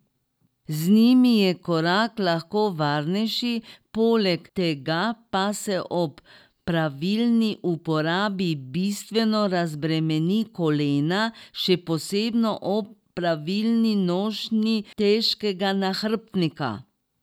Z njimi je korak lahko varnejši, poleg tega pa se ob pravilni uporabi bistveno razbremeni kolena, še posebno ob pravilni nošnji težkega nahrbtnika.